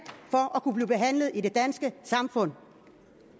for at kunne blive behandlet i det danske samfund